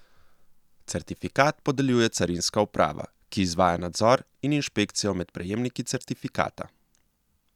Certifikat podeljuje carinska uprava, ki izvaja nadzor in inšpekcijo med prejemniki certifikata.